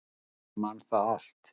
Ég man það allt.